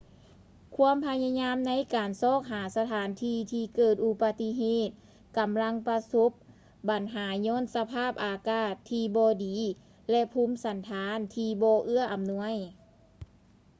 ຄວາມພະຍາຍາມໃນການຊອກຫາສະຖານທີ່ເກີດອຸບັດເຫດກໍາລັງປະສົບບັນຫາຍ້ອນສະພາບອາກາດທີ່ບໍ່ດີ ແລະ ພູມສັນຖານທີ່ບໍ່ເອື້ອອຳນວຍ